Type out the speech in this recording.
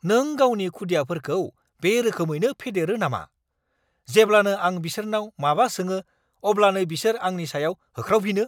नों गावनि खुदियाफोरखौ बे रोखोमैनो फेदेरो नामा? जेब्लानो आं बिसोरनाव माबा सोङो अब्लानो बिसोर आंनि सायाव होख्रावफिनो।